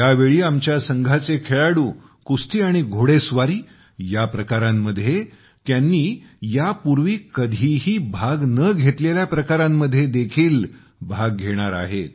यावेळी आमच्या संघाचे खेळाडू कुस्ती आणि घोडेस्वारी या प्रकारांमध्ये त्यांनी यापूर्वी कधीही भाग न घेतलेल्या प्रकारांमध्ये देखील भाग घेणार आहेत